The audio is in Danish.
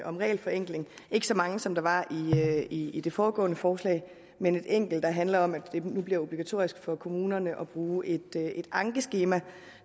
om regelforenkling ikke så mange som der var i i det foregående forslag men et enkelt der handler om at det nu bliver obligatorisk for kommunerne at bruge et ankeskema